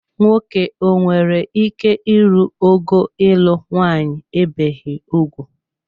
Nwoke o nwere ike ịrụ ogo ịlụ nwanyị ebeghi ugwu?